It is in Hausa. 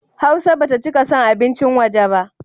Hausa ba ta cika son abincin waje ba.